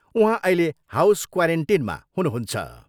उहाँ अहिले हाउस क्वारेन्टिनमा हुनुहुन्छ।